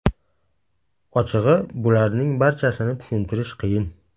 Ochig‘i, bularning barchasini tushuntirish qiyin.